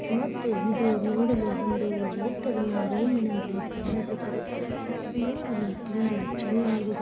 ಮತ್ತು ಇದು ನೋಡಲು ಒಂದು ಹೊಟೇಲನ ರೂಮೀನಂತೆ ಕಾಣಿಸುತ್ತಿದೆ. ನೋಡಲು ತುಂಬಾ ಚೆನ್ನಾಗಿ--